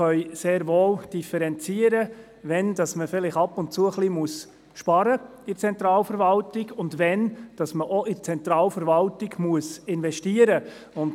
Wir können sehr wohl differenzieren, wann es angezeigt ist, bei der Zentralverwaltung Einsparungen zu machen, und wann in die Zentralverwaltung investiert werden muss.